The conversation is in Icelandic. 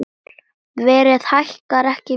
Verðið hækkar ekki mikið meira.